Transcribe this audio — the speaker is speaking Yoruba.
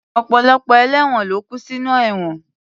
Ọ̀pọ̀lọpọ̀ ẹlẹ́won ló kú sinú ẹ̀wọ̀n